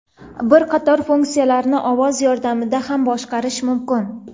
Bir qator funksiyalarni ovoz yordamida ham boshqarish mumkin.